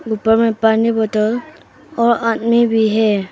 ऊपर में पानी बॉटल और आदमी भी है।